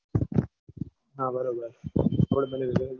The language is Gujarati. હા બરોબર આપણે બંન જઈશું.